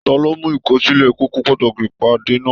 Taló mu ikọsilẹ kókó pàtàkì ìpàdé náà?